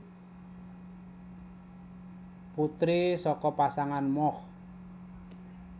Putri saka pasangan Moch